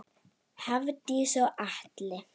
Hafdís og Atli.